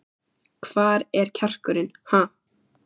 Hvar er kjarkurinn, ha?